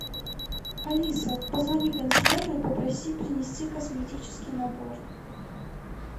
алиса позвони консьержу и попроси принести косметический набор